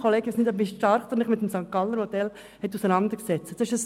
Ich weiss nicht, wie stark Sie sich mit dem St. Galler Modell auseinandergesetzt haben.